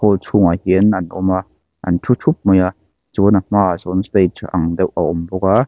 chhungah hian an awm a an thu thup mai a chuan a hma ah sawn stage ang deuh a awm bawk a.